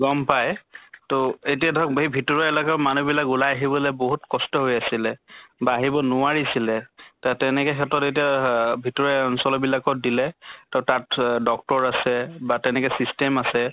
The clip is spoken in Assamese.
গম পায় তʼ এতিয়া ধৰক হেই ভিতৰোৱা এলেকাৰ মানুহ বিলাক ওলাই আহিবলে বহুত কষ্ট হৈ আছিলে, বা আহিব নোৱাৰিছিলে। তা তেনেকা ক্ষেত্ৰত এতিয়া আহ ভিতৰোৱা অঞ্চল বিলাকত দিলে তʼ তাত অহ doctor আছে বা তেনেকে system আছে